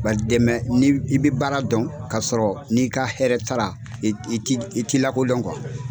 ba dɛmɛ ni i bɛ baara dɔn ka sɔrɔ n'i ka hɛrɛ t'a ra i t'i i t'i lakodɔn